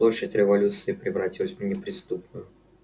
площадь революции превратилась в неприступную